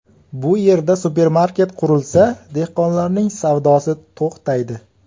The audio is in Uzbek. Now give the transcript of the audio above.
Bu yerda supermarket qurilsa, dehqonlarning savdosi to‘xtaydi.